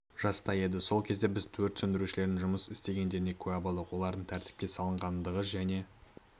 жаста еді сол кезде біз өрт сөндірушілердің жұмыс істегендеріне куә болдық олардың тәртіпке салынғандығы және